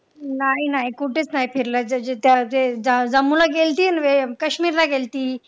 नाही नाही कुठेच नाही फिरलं जम्मूला गेलती आणि काश्मीरला गेलती.